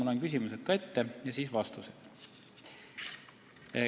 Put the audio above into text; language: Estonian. Ma loen küsimused ette ja annan siis vastused.